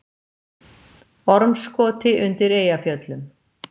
Ormskoti undir Eyjafjöllum.